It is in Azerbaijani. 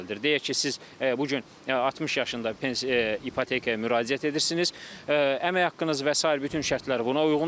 Deyək ki, siz bu gün 60 yaşında ipotekaya müraciət edirsiniz, əmək haqqınız və sair bütün şərtlər buna uyğundur.